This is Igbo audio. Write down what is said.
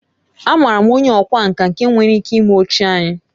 Amaara m onye ọkwá nkà nke nwere ike ime oche anyị